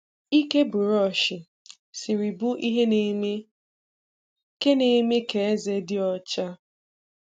Ike bụrọshị siri bụ ihe na-eme ka na-eme ka eze dị ọcha.